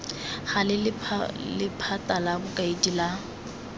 gale lephata la bokaedi la